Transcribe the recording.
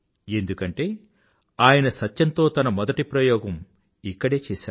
ఎందుకంటే ఆయన సత్యంతో తన మొదటి ప్రయోగం ఇక్కడే చేశారు